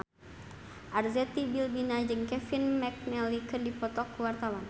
Arzetti Bilbina jeung Kevin McNally keur dipoto ku wartawan